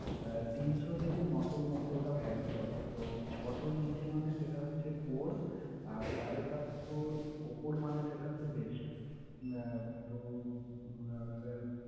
আহ তিনশ থেকে নয়শোর মধ্যে ওটা varie করে। ছয়শর নীচে মানে সেটা হচ্ছে poor । আর সাড়ে সাতশর উপর মানে হচ্ছে best । আহ তো উম